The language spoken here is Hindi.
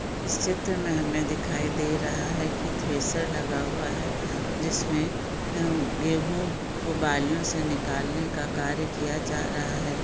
इस चित्र मैं हमें दिखाई दे रहा है की थ्रेसर लगा हुआ है जिसमे अम गेहूँ को बालियों से निकाल ने का कार्य किया जा रहा है।